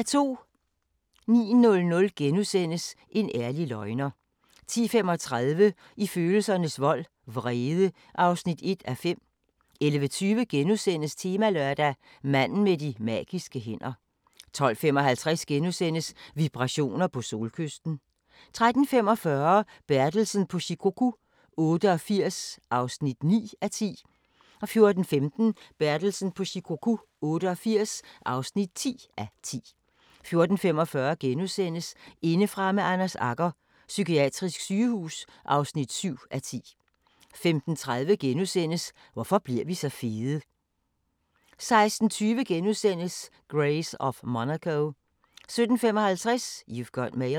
09:00: En ærlig løgner * 10:35: I følelsernes vold – vrede (1:5) 11:20: Temalørdag: Manden med de magiske hænder * 12:55: Vibrationer på Solkysten * 13:45: Bertelsen på Shikoku 88 (9:10) 14:15: Bertelsen på Shikoku 88 (10:10) 14:45: Indefra med Anders Agger – Psykiatrisk sygehus (7:10)* 15:30: Hvorfor bliver vi så fede? * 16:20: Grace of Monaco * 17:55: You've Got Mail